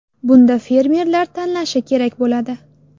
Bunda fermerlar tanlashi kerak bo‘ladi.